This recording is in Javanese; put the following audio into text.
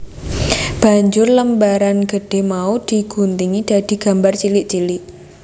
Banjur lembaran gedhé mau di guntingi dadi gambar cilik cilik